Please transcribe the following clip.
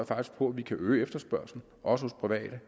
faktisk på at vi kan øge efterspørgslen også hos private